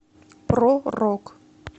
про рок